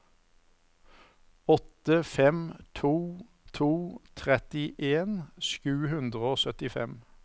åtte fem to to trettien sju hundre og syttifem